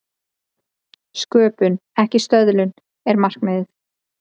Sköpun, ekki stöðlun, er markmiðið.